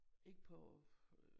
Ikke på øh